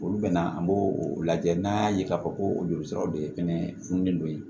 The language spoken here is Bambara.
Olu bɛna an b'o o lajɛ n'an y'a ye k'a fɔ ko o joli siraw de fɛnɛ funen don yen